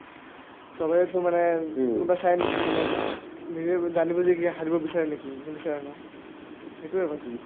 চবেইটো মানে কোনোবাই চাইনেকি মানে নিজে বু জানি বুজি হাৰিব বিচাৰে নেকি নিবিচাৰে ন সেটোয়ে কথা